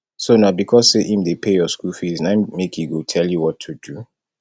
so na because say im dey pay your school fees na im make e go tell you what to do